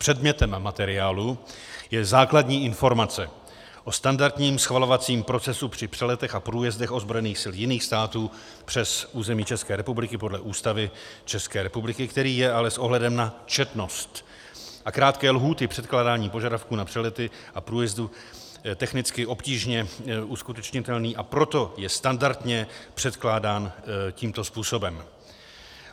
Předmětem materiálu je základní informace o standardním schvalovacím procesu při přeletech a průjezdech ozbrojených sil jiných států přes území České republiky podle Ústavy České republiky, který je ale s ohledem na četnost a krátké lhůty předkládání požadavků na přelety a průjezdy technicky obtížně uskutečnitelný, a proto je standardně předkládán tímto způsobem.